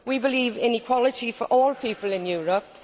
We believe in equality for all people in Europe.